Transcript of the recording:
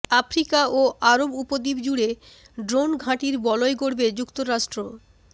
Africa ও আরব উপদ্বীপ জুড়ে ড্রোনঘাঁটির বলয় গড়বে যুক্তরাষ্ট্র